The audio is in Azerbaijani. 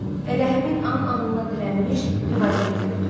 Elə həmin an anına dirənmiş revolveri gördü.